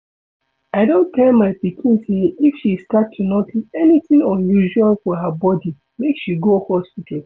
I don tell my pikin say if she start to notice anything unusual for her body make she go hospital